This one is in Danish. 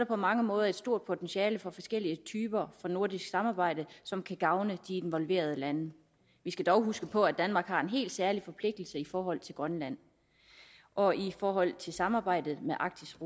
på mange måder et stort potentiale for forskellige typer af nordisk samarbejde som kan gavne de involverede lande vi skal dog huske på at danmark har en helt særlig forpligtelse i forhold til grønland og i forhold til samarbejdet med arktisk